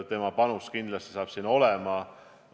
Tema panus saab siin kindlasti olemas olema.